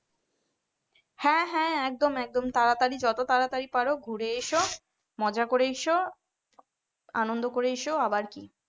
হ্যাঁ হ্যাঁ একদম একদম তাড়াতাড়ি যত তাড়াতাড়ি পারো ঘুরে এসো মজা করে এসো আনন্দ করে এসো আবার কি?